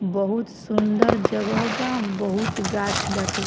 बहुत सुन्दर जगह बा बहुत गाछ बाटे।